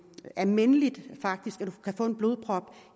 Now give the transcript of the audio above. almindeligt at få en blodprop